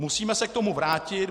Musíme se k tomu vrátit.